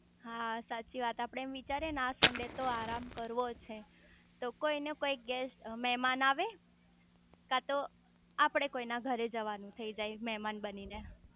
હા સાચી વાત આપડે એમ વિચારીયે આ સન્ડે તો આરામ કરવોજ છે તોકોઈ નું કોઈ ગેસ્ટ મેમાન આવે કાતો આપડે કોક ના ઘરે જવાનું થઇ જાય મેમાન બની ને